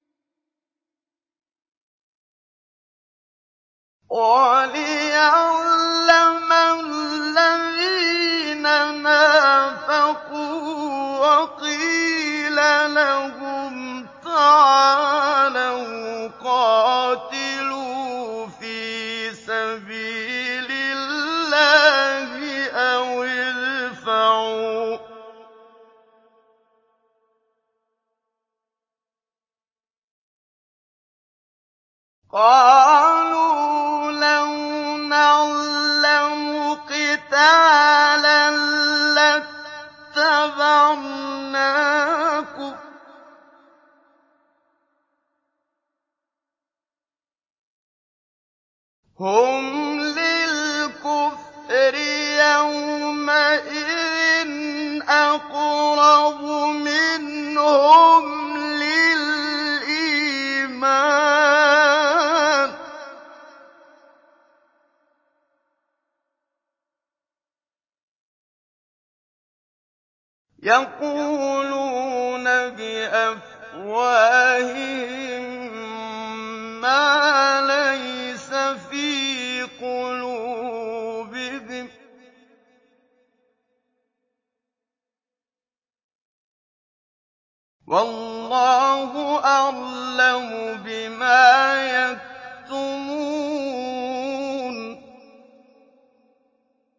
وَلِيَعْلَمَ الَّذِينَ نَافَقُوا ۚ وَقِيلَ لَهُمْ تَعَالَوْا قَاتِلُوا فِي سَبِيلِ اللَّهِ أَوِ ادْفَعُوا ۖ قَالُوا لَوْ نَعْلَمُ قِتَالًا لَّاتَّبَعْنَاكُمْ ۗ هُمْ لِلْكُفْرِ يَوْمَئِذٍ أَقْرَبُ مِنْهُمْ لِلْإِيمَانِ ۚ يَقُولُونَ بِأَفْوَاهِهِم مَّا لَيْسَ فِي قُلُوبِهِمْ ۗ وَاللَّهُ أَعْلَمُ بِمَا يَكْتُمُونَ